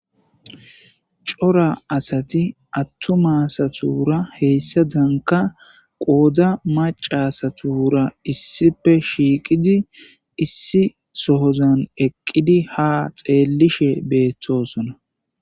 cora asati attuma asatura heyssa danka qooda macca asatura issipe shiiqidi issi sohozan eqqidi ha xeellishe beettosona.